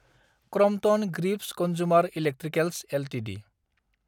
Crompton Greaves consumer electricals Ltd